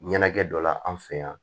Ɲɛnajɛ dɔ la an fɛ yan